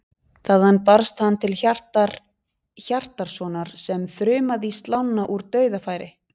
Þaðan barst hann til Hjartar Hjartarsonar sem þrumaði í slána úr dauðafæri.